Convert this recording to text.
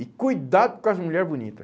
E cuidado com as mulher bonita.